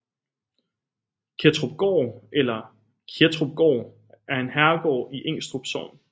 Kettrupgård eller Kjettrupgaard er en herregård i Ingstrup Sogn